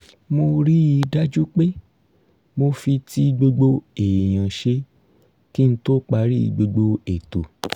mo rí i dájú pé mo fi ti gbogbo èèyàn ṣe kí n tó parí gbogbo ètò